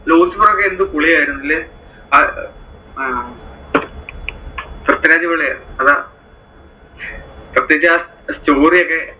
Lucifer ഒക്കെ എന്ത് പൊളിയായിരുന്നുല്ലേ? അഹ് പൃഥ്വിരാജ് പൊളിയാ അതാ. പ്രേത്യേകിച്ച് ആ story ഒക്കെ.